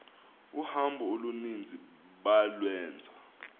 uhambo oluninzi balwenza